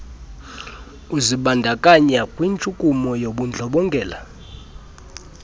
uzibandakanya kwintshukumo yobundlobongela